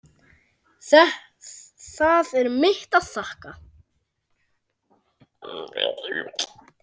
Það er mitt að þakka.